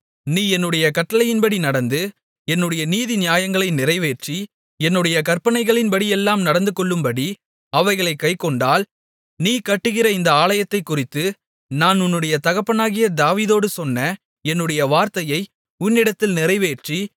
நீ என்னுடைய கட்டளைகளின்படி நடந்து என்னுடைய நீதி நியாயங்களை நிறைவேற்றி என்னுடைய கற்பனைகளின்படியெல்லாம் நடந்துகொள்ளும்படி அவைகளைக் கைக்கொண்டால் நீ கட்டுகிற இந்த ஆலயத்தைக்குறித்து நான் உன்னுடைய தகப்பனாகிய தாவீதோடு சொன்ன என்னுடைய வார்த்தையை உன்னிடத்தில் நிறைவேற்றி